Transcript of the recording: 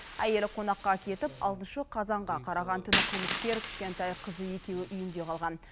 әйелі қонаққа кетіп алтыншы қазанға қараған түні қылмыскер кішкентай қызы екеуі үйінде қалған